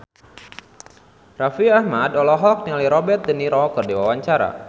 Raffi Ahmad olohok ningali Robert de Niro keur diwawancara